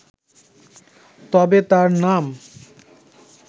তবে তাঁর নাম